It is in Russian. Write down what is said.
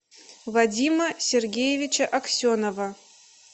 вадима сергеевича аксенова